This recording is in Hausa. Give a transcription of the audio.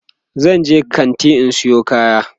zanje kantin Sayo kaya